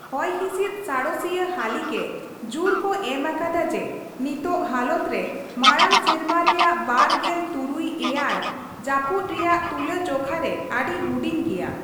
ᱦᱚᱭᱦᱥᱤᱫ ᱥᱟᱬᱮᱥᱤᱭᱟᱹ ᱦᱟᱹᱞᱤᱜᱮ, ᱡᱩᱨ ᱠᱚ ᱮᱢ ᱟᱠᱟᱫᱟ ᱡᱮ ᱱᱤᱛᱚᱜ ᱦᱟᱞᱚᱛ ᱨᱮ ᱢᱟᱲᱟᱝ ᱥᱮᱨᱢᱟ ᱨᱮᱭᱟᱜ ᱵᱟᱨ ᱜᱮᱞ ᱛᱩᱨᱩᱭ/ᱮᱭᱟᱭ ᱡᱟᱹᱯᱩᱫ ᱨᱮᱭᱟᱜ ᱛᱩᱞᱟᱹᱡᱷᱚᱠᱷᱟ ᱨᱮ ᱟᱹᱰᱤ ᱦᱩᱰᱤᱧ ᱜᱮᱭᱟ ᱾